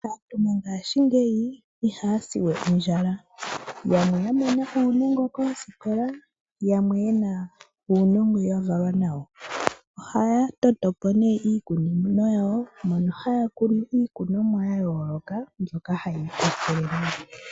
Aantu mongashingeyi ihaya siwe ondjala yamwe ya mona uunongo koosikola, yamwe yena uunongo ya valwa nawo. Ohaya totopo ne iikunino yawo mono haya kunu iikunomwa ya yooloka mbyoka haya ikwathele nayo.